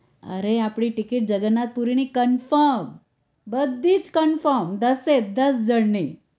અરે આપણી ticket જગન્નાથ પુરીની confirm બધી જ confirm દસે એ દસ જણ ની